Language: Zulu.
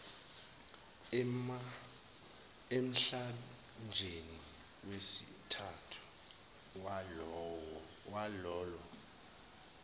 emhlandleni wesithathu walolo